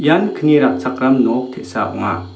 ian kni ratchakram nok te·sa ong·a.